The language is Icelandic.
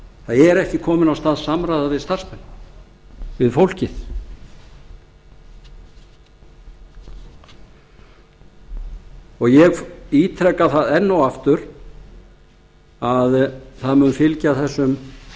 það er ekki komin af stað samræða við starfsmenn við fólkið ég ítreka það enn og aftur að það mun fylgja þessum